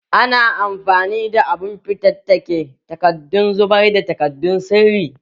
Ana amfani da abun fatattake takardadon zubar da takaddun sirri